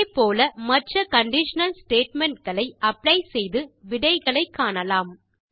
இதே போல மற்ற கண்டிஷனல் ஸ்டேட்மெண்ட் களை அப்ளை செய்து விடைகளை காணலாம்